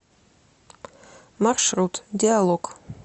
маршрут диалог